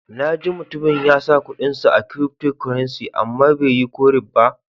Na ji mutumin ya sa kudin sa a cryftocurrency, amma bai yi ko ribba.